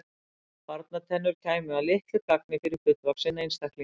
smáar barnatennur kæmu að litlu gagni fyrir fullvaxinn einstakling